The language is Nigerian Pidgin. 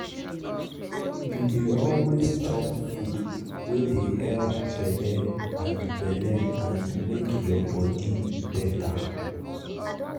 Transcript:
you dey always chop food wey dey help belle and belle and make your body better.